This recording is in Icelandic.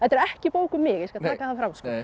ekki bók um mig ég skal taka það fram